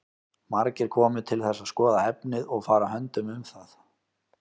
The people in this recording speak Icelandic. Margir komu til þess að skoða efnið og fara höndum um það.